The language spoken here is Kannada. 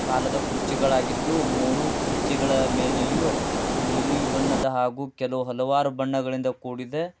ಕಾಲದ ಕುರ್ಚಿಗಳ ಆಗಿದ್ದು ಮೂರು ಕುರ್ಚಿಗಳ ಮೇಲೆಯೂ ನೀಲಿ ಬಣ್ಣದ ಹಾಗೂ ಕೆಲವು ಹಲವಾರು ಬಣ್ಣಗಳಿಂದ ಕೂಡಿದೆ.